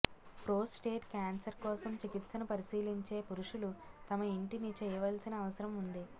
prostate cancer కోసం చికిత్సను పరిశీలించే పురుషులు తమ ఇంటిని చేయవలసిన అవసరం ఉంది